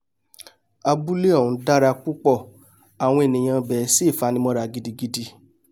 abúlé ọ̀hún dára púpọ̀ àwọn ènìà ibẹ̀ sì fanimọ́ra gidigidi